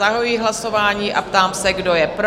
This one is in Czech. Zahajuji hlasování a ptám se, kdo je pro?